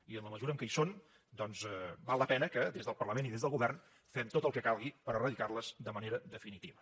i en la mesura que hi són doncs val la pena que des del parlament i des del govern fem tot el que calgui per eradicar les de manera definitiva